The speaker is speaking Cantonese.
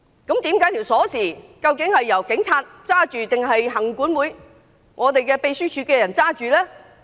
究竟大樓門匙是在警察手上，還是行管會或秘書處員工手上？